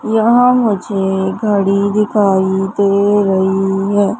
यहां मुझे घड़ी दिखाई दे रही है।